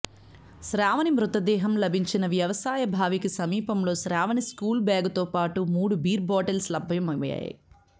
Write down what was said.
శ్రావణి మృతదేహం లభించిన వ్యవసాయ బావికి సమీపంలో శ్రావణి స్కూల్ బ్యాగుతో పాటు మూడు బీర్ బాటిల్స్ లభ్యమయ్యాయి